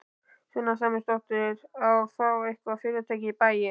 Sunna Sæmundsdóttir: Að fá eitthvað fyrirtæki í bæinn?